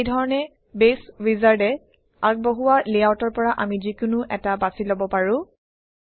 এইধৰণে বেছ উইজাৰ্ডে আগবঢ়োৱা লেআউটৰ পৰা আমি যিকোনো এটা বাছি লব পাৰোঁ